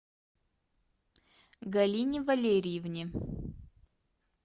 галине валериевне